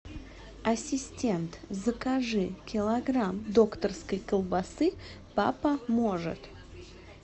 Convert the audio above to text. ассистент закажи килограмм докторской колбасы папа может